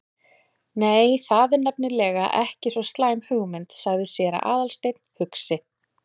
Nei, það er nefnilega ekki svo slæm hugmynd- sagði séra Aðalsteinn hugsi.